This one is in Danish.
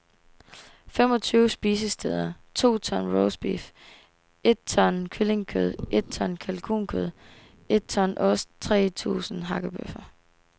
Fem og tyve spisesteder, to ton roastbeef, et ton kyllingekød, et ton kalkunkød, et ton ost, tre tusind hakkebøffer.